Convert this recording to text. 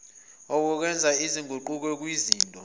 obenza izinguquko kwizinto